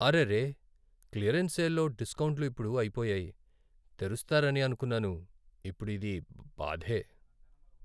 అరెరే! క్లియరెన్స్ సేల్లో డిస్కౌంట్లు ఇప్పుడు అయిపోయాయి. తెరుస్తారని అనుకున్నాను, ఇప్పుడు ఇది బాధే.